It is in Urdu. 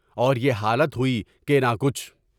اور یہ حالت ہو نی کہ نہ کچھ